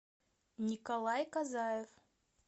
николай казаев